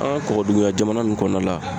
An ka kɔkɔduguya jamana nunnu kɔnɔna la